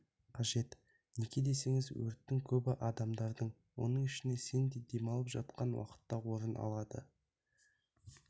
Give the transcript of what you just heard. қажет неге десеңіз өрттің көбі адамдар оның ішінде сен де демалып жатқан уақытта орын алады